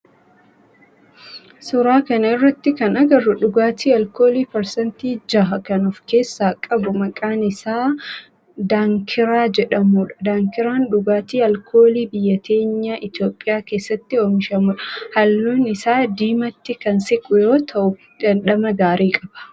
Suuraa kana irratti kana agarru dhugaatii alkoolii parsantii 6% of keessaa qabu maqaan isaa daankiraa jedhamudha. Daankiraan dhugaatii alkoolii biyya teenya Itiyoophiyaa keessatti oomishamudha. Halluun isaa diimatti kan siqu yoo ta'u dhandhama gaarii qaba.